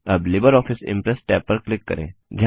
अब LibreOffice Impress tab पर click करें